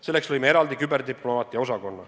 Selleks lõime eraldi küberdiplomaatia osakonna.